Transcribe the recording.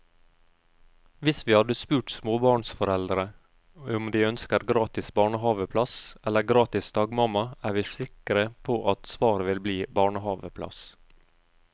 Hvis vi hadde spurt småbarnsforeldre om de ønsker gratis barnehaveplass eller gratis dagmamma, er vi sikre på at svaret ville bli barnehaveplass.